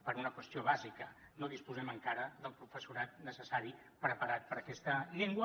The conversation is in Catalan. per una qüestió bàsica no disposem encara del professorat necessari preparat per a aquesta llengua